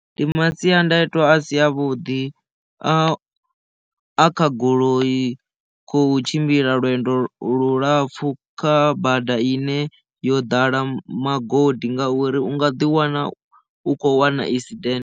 Ndi masiandaitwa a si avhuḓi a a kha goloi khou tshimbila lwendo lulapfhu kha bada ine yo ḓala magodi ngauri u nga ḓi wana u khou wana esident.